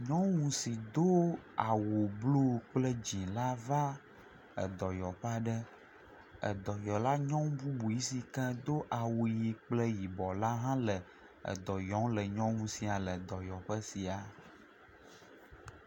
Nyɔnu si do awu blu kple dzila va edɔyɔƒe aɖe. Edɔyala nyɔnu bubu si ke do awu ʋi kple yibɔ la hã le edɔ yɔm nyɔnu sia le edɔyɔƒe sia.